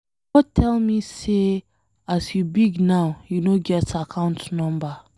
No tell me say as you big now you no get account number.